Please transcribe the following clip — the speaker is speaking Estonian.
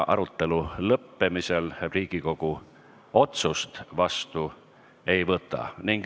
Arutelu lõppemisel Riigikogu otsust vastu ei võta.